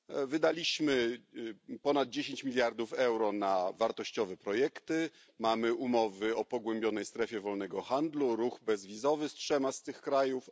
Wydaliśmy ponad 10 miliardów euro na wartościowe projekty, mamy umowy o pogłębionej strefie wolnego handlu, ruch bezwizowy z trzema z tych krajów.